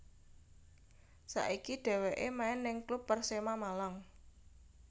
Saiki dheweke main nang klub Persema Malang